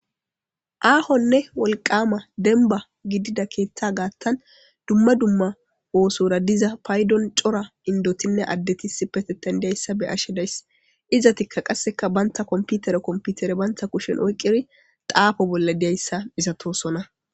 Aahonne wolqama denba gidida keeththa gaattan dumma dumma oosora diza paydon cora indotinne addetisi peteten diyayssa be ashe days iza tikka qasseka banta komputere komputere banta kushen oyqqiri xaafo bolla diyayssa isatoosona